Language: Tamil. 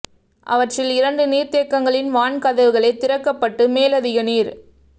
அவற்றில் இரண்டு நீர்த்தேக் கங்களின் வான் கதவுகளே திறக்கப்பட்டு மேலதிக நீர்